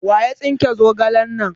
waya tsike zogalen nan?